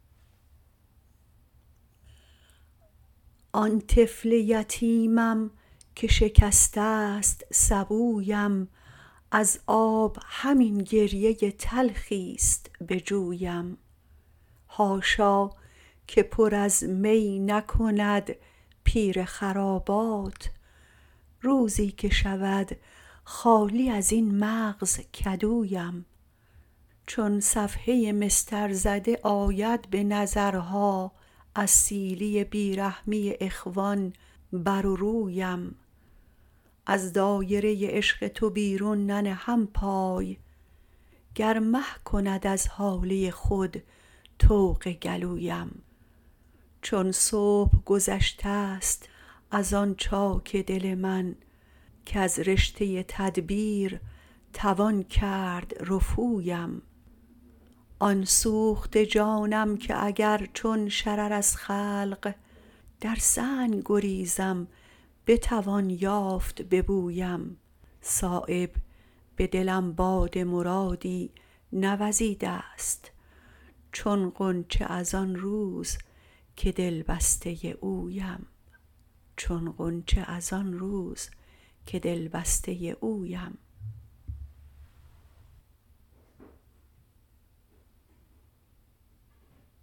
آن طفل یتیمم که شکسته است سبویم از آب همین گریه تلخی است به جویم حاشا که پر از می نکند پیر خرابات روزی که شود خالی ازین مغز کدویم چون صفحه مسطر زده آید به نظرها از سیلی بیرحمی اخوان بر رویم از دایره عشق تو بیرون ننهم پای گر مه کند از هاله خود طوق گلویم چون صبح گذشته است ازان چاک دل من کز رشته تدبیر توان کرد رفویم آن سوخته جانم که اگر چون شرر از خلق در سنگ گریزم بتوان یافت به بویم صایب به دلم باد مرادی نوزیده است چون غنچه ازان روز که دلبسته اویم